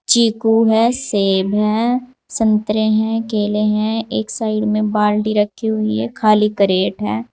चीकू है सेब है संतरे हैं केले हैं एक साइड में बाल्टी रखी हुई है खाली क्रेट हैं।